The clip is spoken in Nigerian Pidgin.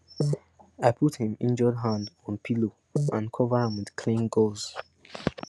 i put him injured hand on pillow and cover am with clean gauze